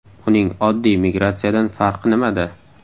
Uning oddiy migratsiyadan farqi nimada?